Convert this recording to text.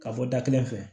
Ka bɔ da kelen fɛ